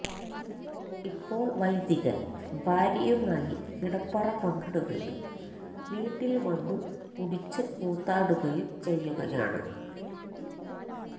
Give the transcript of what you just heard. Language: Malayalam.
ഇപ്പോൾ വൈദികൻ ഭാര്യയുമായി കിടപ്പറ പങ്കിടുകയും വീട്ടിൽ വന്നു കുടിച്ചു കൂത്താടുകയും ചെയ്യുകയാണ്